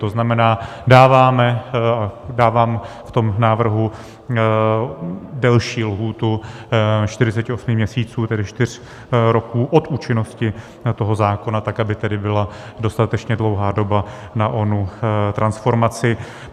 To znamená, dávám v tom návrhu delší lhůtu 48 měsíců, tedy čtyř roků, od účinnosti toho zákona tak, aby tedy byla dostatečně dlouhá doba na onu transformaci.